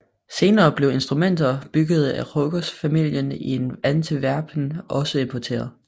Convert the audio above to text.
Senere blev instrumenter bygget af Ruckers familien i Antwerpen også importeret